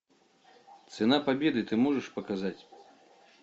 цена победы ты можешь показать